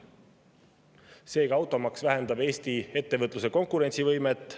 Seega, automaks vähendab Eesti ettevõtluse konkurentsivõimet.